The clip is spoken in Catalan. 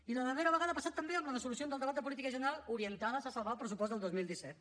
i la darrera vegada ha passat també amb les resolucions del debat de política general orientades a salvar el pressupost del dos mil disset